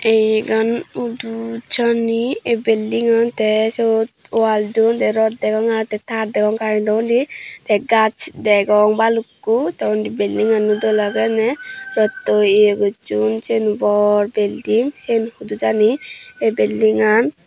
ei yegani hudu jani ei beldingan tey syot wal don tey rod degong aro tey tar degong karentohudi tey gaaz degong balukko tey undi beldingano dol agey aney rottoi ye gosson siyen bor belding syen hudu jani ei beldingan.